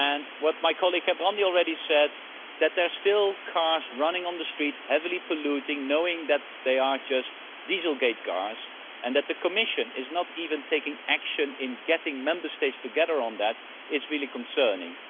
What my colleague Gerben Jan Gerbrandy said that there are still cars running on the streets, heavily polluting, knowing that they are just dieselgate cars, and that the Commission is not even taking action in getting Member States together on that is really concerning.